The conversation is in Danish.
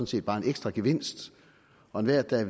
set bare en ekstra gevinst og enhver der